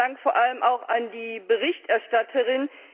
Vielen Dank vor allem auch an die Berichterstatterin.